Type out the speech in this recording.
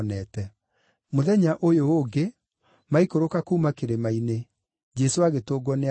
Mũthenya ũyũ ũngĩ, maikũrũka kuuma kĩrĩma-inĩ, Jesũ agĩtũngwo nĩ andũ aingĩ.